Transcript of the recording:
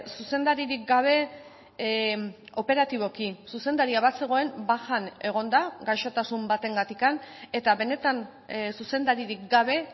zuzendaririk gabe operatiboki zuzendaria bazegoen bajan egon da gaixotasun batengatik eta benetan zuzendaririk gabe